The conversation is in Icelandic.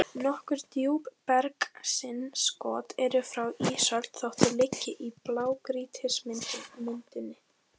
Nokkur djúpbergsinnskot eru frá ísöld þótt þau liggi í blágrýtismynduninni.